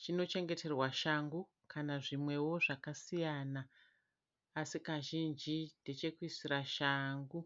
Chinochengeterwa shangu kana zvimwewo zvakasiyana. Así kazhinji ndechekuisira shangu.